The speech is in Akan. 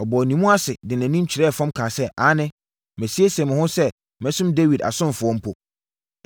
Ɔbɔɔ ne mu ase de nʼanim kyerɛɛ fam kaa sɛ, “Aane, masiesie me ho sɛ mɛsom Dawid asomfoɔ mpo.”